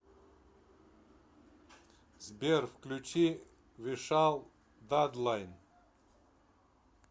сбер включи вишал дадлайн